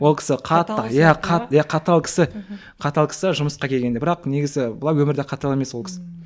ол кісі қатты иә қатты қатал кісі қатал кісі жұмысқа келгенде ал бірақ негізі былай өмірде қатал емес ол кісі ммм